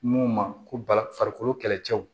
Mun ma ko bala farikolo kɛlɛcɛw